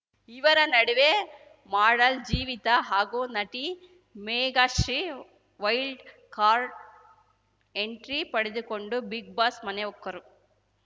ಇವರ ನಡುವೆ ಮಾಡಲ್ ಜೀವಿತಾ ಹಾಗೂ ನಟಿ ಮೇಘಾಶ್ರೀ ವೈಲ್ಡ್ ಕಾರ್ಟ್‌ ಎಂಟ್ರಿ ಪಡೆದುಕೊಂಡು ಬಿಗ್‌ ಬಾಸ್‌ ಮನೆ ಹೊಕ್ಕರು